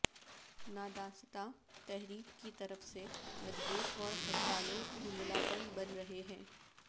نادانستہ تحریک کی طرف سے مجبور اور ہڑتالوں دھندلاپن بن رہے ہیں